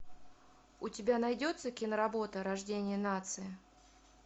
у тебя найдется киноработа рождение нации